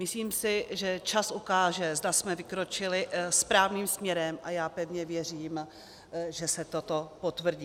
Myslím si, že čas ukáže, zda jsme vykročili správným směrem, a já pevně věřím, že se toto potvrdí.